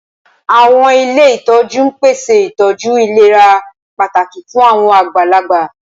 Awọn ile itọju n pese itọju ilera pataki fun awọn agbalagba.